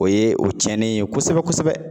O ye o tiɲɛnen ye kosɛbɛ kosɛbɛ.